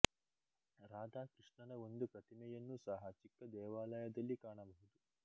ರಾಧಾ ಕೃಷ್ಣನ ಒಂದು ಪ್ರತಿಮೆಯನ್ನು ಸಹ ಚಿಕ್ಕ ದೇವಾಲಯದಲ್ಲಿ ಕಾಣಬಹುದು